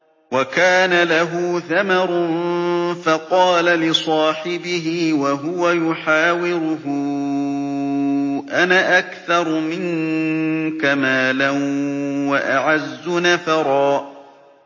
وَكَانَ لَهُ ثَمَرٌ فَقَالَ لِصَاحِبِهِ وَهُوَ يُحَاوِرُهُ أَنَا أَكْثَرُ مِنكَ مَالًا وَأَعَزُّ نَفَرًا